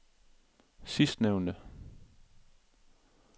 sidstnævnte